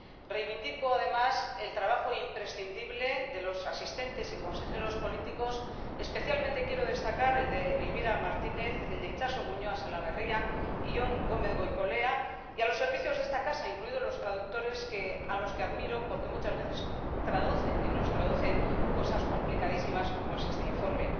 Reivindico, además, el trabajo imprescindible de los asistentes y consejeros políticos —especialmente quiero destacar el de Elvira Martínez, el de Itxaso Muñoa Salaverria y el de Jon Gómez Goicolea—, y el de los servicios de esta casa, incluidos los traductores, a los que admiro porque muchas veces traducen y nos traducen cosas complicadísimas como es este informe.